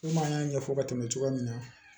Komi an y'a ɲɛfɔ ka tɛmɛ cogoya min na